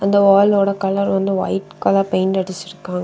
இந்த வாலோட கலர் வந்து வைட் கலர் பெயிண்ட் அடிச்சிருக்கா.